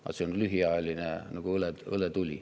Aga see on lühiajaline nagu õletuli.